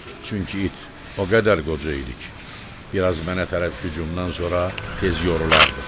Çünki it o qədər qoca idi ki, biraz mənə tərəf hücumdan sonra tez yorulardı.